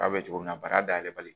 A bɛ cogo min na bara dayɛlɛ bali